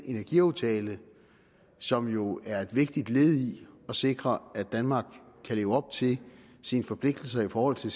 energiaftale som jo er et vigtigt led i at sikre at danmark kan leve op til sine forpligtelser i forhold til